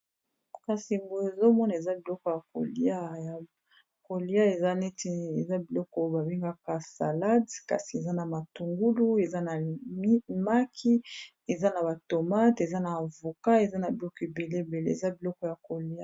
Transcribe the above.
kasi boye ezomona eza biloko ya kolia ya kolia eza neti eza biloko babengaka salade kasi eza na matungulu eza na maki eza na batomate eza na avoka eza na biloko ebele bele eza biloko ya kolia